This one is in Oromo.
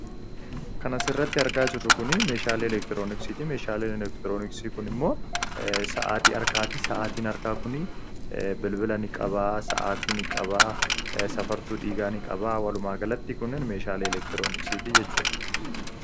kan asirratti argaa jirru kun, meeshaalee elektirooniksitii. meeshaan elektirooniksii kun immoo, sa’aatii harkaati. Sa'aatiin harkaa kun, bilbila ni qaba ,safartuu dhiigaa ni qaba. Walumaa galatti, kunnen meeshaalee elektirooniksiiti jechuudha.